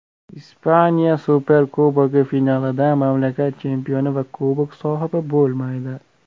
Ispaniya Superkubogi finalida mamlakat chempioni va Kubok sohibi bo‘lmaydi.